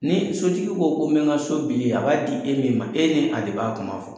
Ni sotigi ko ko n bɛ ka so bili a b'a di e min ma e ni a de b'a kuma fɔ.